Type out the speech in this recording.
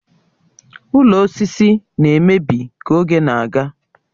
Ụlọ osisi na-emebi ka oge na-aga